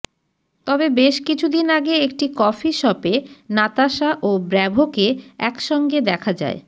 তবে বেশ কিছুদিন আগে একটি কফিশপে নাতাশা ও ব্র্যাভোকে একসঙ্গে দেখা যায়